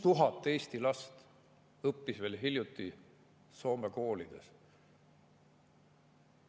6000 Eesti last õppis veel hiljuti Soome koolides.